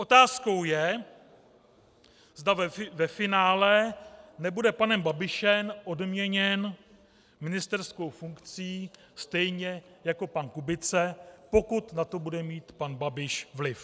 Otázkou je, zda ve finále nebude panem Babišem odměněn ministerskou funkcí stejně jako pan Kubice, pokud na to bude mít pan Babiš vliv.